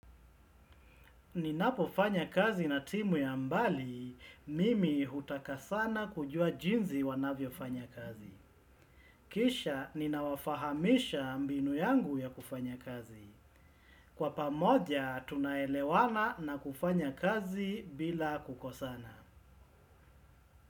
Ninapofanya kazi na timu ya mbali, mimi hutaka sana kujua jinsi wanavyofanya kazi. Kisha, ninawafahamisha mbinu yangu ya kufanya kazi. Kwa pamoja, tunaelewana na kufanya kazi bila kukosana.